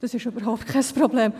Das ist überhaupt kein Problem.